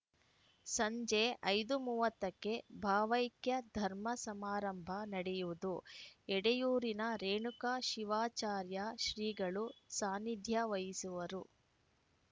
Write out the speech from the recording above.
ಸಂಜೆ ಐದು ಮೂವತ್ತ ಕ್ಕೆ ಭಾವೈಕ್ಯ ಧರ್ಮ ಸಮಾರಂಭ ನಡೆಯುವುದು ಎಡೆಯೂರಿನ ರೇಣುಕ ಶಿವಾಚಾರ್ಯ ಶ್ರೀಗಳು ಸಾನಿಧ್ಯ ವಹಿಸುವರು